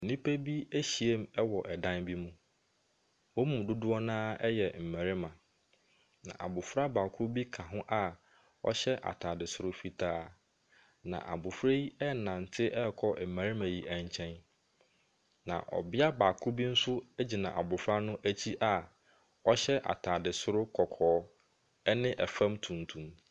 Nnipa bi ahyiam wɔ ɛdan bi mu. Wɔn mu dodoɔ no ara yɛ mmarima, na abofra baako bi ka ho a ɔhyɛ atade soro fitaa, na abofra yi renante akɔ mmarima yi nkyɛn. Na ɔbea baako bi nso gyina abofra no akyi a chyɛ atade soro kɔkɔɔ, ne fam tuntum.